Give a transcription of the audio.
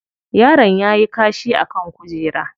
Yaron yayi kashi a kan kujera.